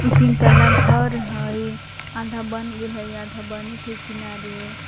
ई तीन तल्ला घर हइ आधा बन गेल हइ आधा बनैत हइ किनारे --